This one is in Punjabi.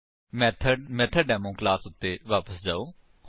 ਮੇਥਡ ਮੈਥੋਡੇਮੋ ਕਲਾਸ ਉੱਤੇ ਵਾਪਸ ਜਾਓ